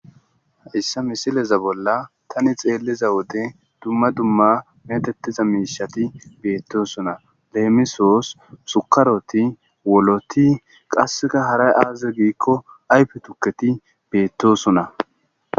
Hayssa misileza bolla tani xeelliza wode dumma dumma metettiza miishati beetosona. Leemisos; sukaroti,woloti, qasseka haray aaze giikko ayfe tukketi beettosona.